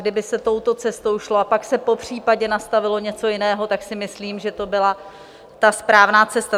Kdyby se touto cestou šlo a pak se popřípadě nastavilo něco jiného, tak si myslím, že by to byla ta správná cesta.